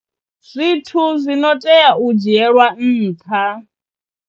Zwithu zwi no tea u dzhielwa nṱha.